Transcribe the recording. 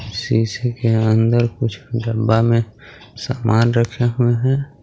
CC के अंदर कुछ डब्बा मे सामान रखे हुए हे.